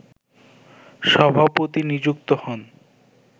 সভাপতি নিযুক্ত হন